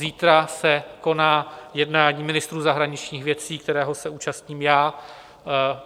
Zítra se koná jednání ministrů zahraničních věcí, kterého se účastním já.